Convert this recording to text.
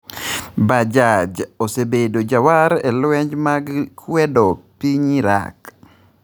Bajaj osebedo jawar e lwenje mag kwedo piny Iraq